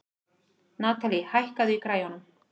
Natalie, hækkaðu í græjunum.